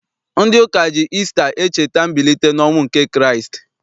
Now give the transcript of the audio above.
Ndị ụka ji Isita echeta mbilite n'ọnwụ nke Kraịst.